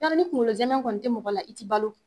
Yarɔ ni kunkolo zɛmɛ kɔni tɛ mɔgɔ la i ti balo